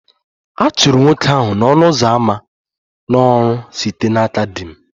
A chụrụ nwoke ahụ n'ọnụ ụzọ ámá n'ọrụ site n'aka di m